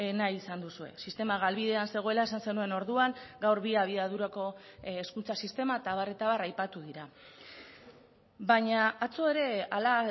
nahi izan duzue sistema galbidean zegoela esan zenuen orduan gaur bi abiadurako hezkuntza sistema eta abar eta abar aipatu dira baina atzo ere hala